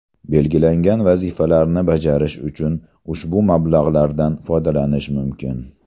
Belgilangan vazifalarni bajarish uchun ushbu mablag‘lardan foydalanish mumkin.